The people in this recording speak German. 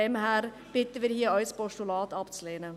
Deshalb bitten wir Sie, auch ein Postulat abzulehnen.